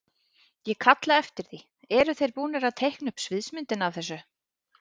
Ég kalla eftir því, eru þeir búnir að teikna upp sviðsmyndina af þessu?